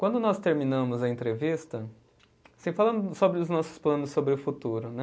Quando nós terminamos a entrevista, assim falando sobre os nossos planos sobre o futuro, né?